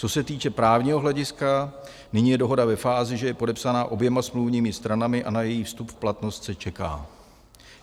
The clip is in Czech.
Co se týče právního hlediska, nyní je dohoda ve fázi, že je podepsaná oběma smluvními stranami a na její vstup v platnost se čeká.